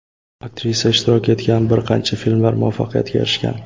Aktrisa ishtirok etgan bir qancha filmlar muvaffaqiyatga erishgan.